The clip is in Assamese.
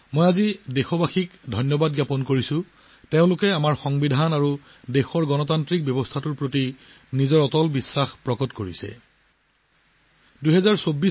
মই আজি দেশবাসীসকলকো ধন্যবাদ জনাইছো যে তেওঁলোকে আমাৰ সংবিধান আৰু দেশৰ গণতান্ত্ৰিক ব্যৱস্থাৰ ওপৰত নিজৰ অটল বিশ্বাস পুনৰবাৰ দেখুৱালে